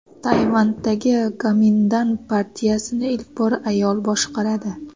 Tayvandagi Gomindan partiyasini ilk bor ayol boshqaradi.